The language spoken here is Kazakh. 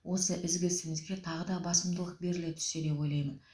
осы ізгі ісімізге тағы да басымдылық беріле түссе деп ойлаймын